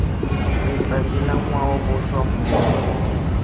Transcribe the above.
letsatsi la ngwao boswa mmogo